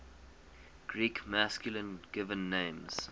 greek masculine given names